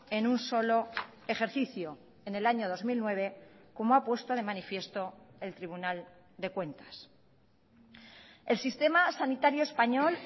en un solo ejercicio en el año dos mil nueve como ha puesto de manifiesto el tribunal de cuentas el sistema sanitario español